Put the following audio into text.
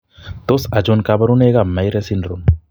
Tos achon kabarunaik ab Myhre syndrome ?